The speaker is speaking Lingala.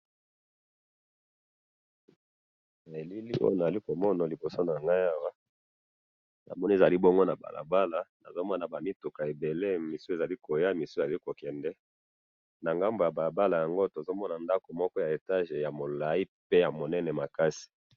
Bilili nazo mona liboso na nga eza balabala, ba mituka eza ko kende na kozonga, na ngambo ya balabala, tozo mono ndako moko ya eyage ya mulayi pe ya munene makasi